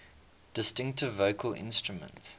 distinctive vocal instrument